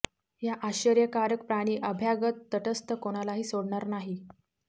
या आश्चर्यकारक प्राणी अभ्यागत तटस्थ कोणालाही सोडणार नाही